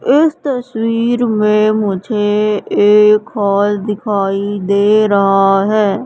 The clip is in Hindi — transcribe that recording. इस तस्वीर में मुझे एक हाल दिखाई दे रहा है।